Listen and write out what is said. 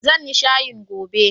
Zan yi shayin gobe.